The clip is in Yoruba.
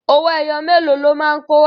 Owó ẹyọ mélòó lo máa kó wá?